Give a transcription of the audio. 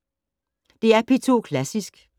DR P2 Klassisk